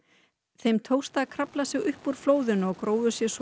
þeim tókst að krafla sig upp úr flóðinu og grófu sig svo